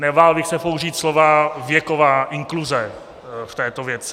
Nebál bych se použít slova "věková inkluze" v této věci.